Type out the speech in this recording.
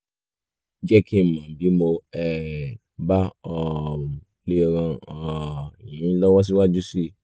jẹ́ kí n mọ̀ bí mo um bá um lè ràn um yín lọ́wọ́ síwájú sí i